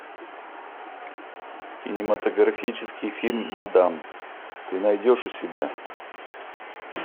кинематографический фильм мадам ты найдешь у себя